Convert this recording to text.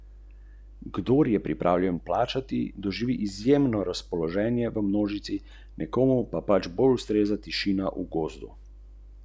Rojaku neizmerno zaupa: "Poznava se skoraj vse življenje.